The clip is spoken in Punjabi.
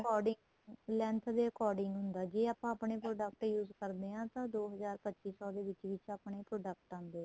according length ਦੇ according ਹੁੰਦਾ ਜ਼ੇ ਆਪਾਂ ਆਪਣੇਂ product use ਕਰਦਿਆਂ ਤਾਂ ਦੋ ਹਜ਼ਾਰ ਪੱਚੀ ਸੋ ਦੇ ਵਿੱਚ ਵਿੱਚ product ਆਂਦੇ ਏ